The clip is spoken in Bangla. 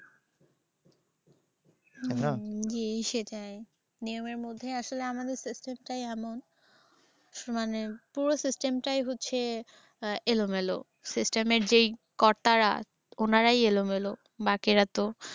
তাই না? জি সেটাই। নিয়মের মধ্যে আসলে আমাদের system টাই এমন সমানে মানে পুরো system টাই হচ্ছে এলোমেলো। system এর যে কর্তারা অনারাই এলোমেলো। বাকিরা তো